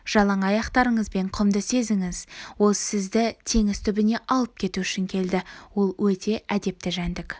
жалаң аяқтарыңызбен құмды сезініңіз ол сізді теңіз түбіне алып кету үшін келді ол өте әдепті жәндік